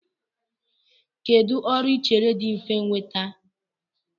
Kedụ ọrụ I chere dị mfe nnweta?